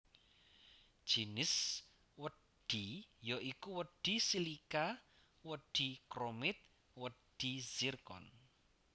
Jinis wedhi ya iku wedhi silika wedhi chromit wedhi zircon